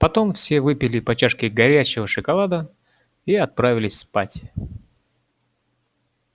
потом все выпили по чашке горячего шоколада и отправились спать